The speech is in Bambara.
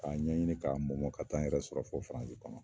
K'a ɲɛɲini k'a mɔmɔ ka taa n yɛrɛ sɔrɔ fɔ firansi kɔnɔ